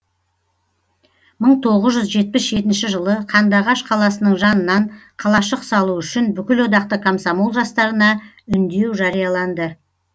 мың тоғыз жүз жетпіс жетінші жылы қандыағаш қаласының жанынан қалашық салу үшін бүкілодақтық комсомол жастарына үндеу жарияланды